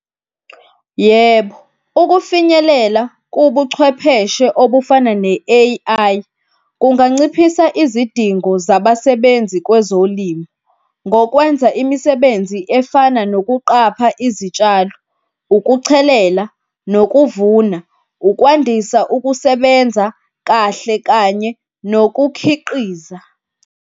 Yebo, ukufinyelela kubuchwepheshe obufana ne-A_I kunganciphisa izidingo zabasebenzi kwezolimi, ngokwenza imisebenzi efana nokuqapha izitshalo, ukuchelela, nokuvuna, ukwandisa ukusebenza kahle kanye nokukhiqiza.